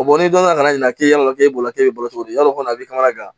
n'i donna ka na ɲina k'e ya la k'e bolo k'a bɛ balo cogo di yarɔ o kɔni a bɛ kamana gan